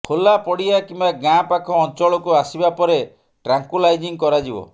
ଖୋଲା ପଡ଼ିଆ କିମ୍ବା ଗାଁ ପାଖ ଅଞ୍ଚଳକୁ ଆସିବା ପରେ ଟ୍ରାଙ୍କୁଲାଇଜିଂ କରାଯିବ